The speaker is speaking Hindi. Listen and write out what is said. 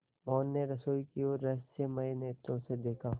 मोहन ने रसोई की ओर रहस्यमय नेत्रों से देखा